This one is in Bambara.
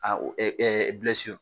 A o